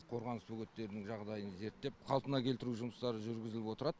қорғаныс бөгеттерінің жағдайын зерттеп қалпына келтіру жұмыстары жүргізіліп отырад